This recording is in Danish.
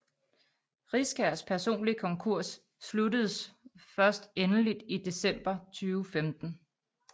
Riskærs personlige konkurs sluttedes først endeligt i december 2015